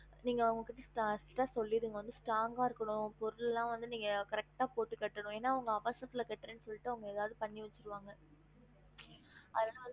நீங்க அவங்க கிட்ட starts ல சொல்லிருங்க strong ஆ இருக்கணும் பொருள் எல்லாம் வந்து நீங்க correct ஆ போட்டு கட்டனும் ஏனா அவங்க அவசரத்துல கட்டுரேன்னு சொல்லிட்டு அவங்க ஏதாது பண்ணி வச்சிருவாங்க அதனால